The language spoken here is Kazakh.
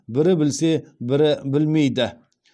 бірі білсе бірі білмейді